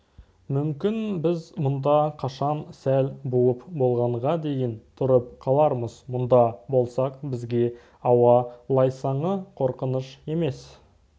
мүмкін біз мұнда қашан сәл буып болғанға дейін тұрып қалармыз мұнда болсақ бізге ауа лайсаңы қорқыныш емес